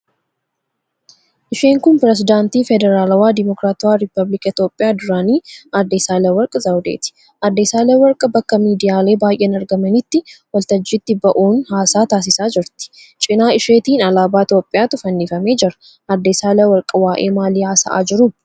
Isheen kun pirezidaantii Federaalawaa Dimokiraatawaa Rippaabilika Itiyoophiyaa duraanii Aadde Saahilewark Zawudeeti. Aadde Saahilewark bakka miidiyaalee baay'een argamanitti waltajjiitti ba'uun haasaa taasisaa jirti. Cina isheetiin alaabaa Itiyoophiyaatu fannifamee jira. Aadde Saahilewark waa'ee maalii haasa'aa jiru?